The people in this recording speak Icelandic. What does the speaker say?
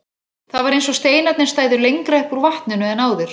Það var eins og steinarnir stæðu lengra upp úr vatninu en áður.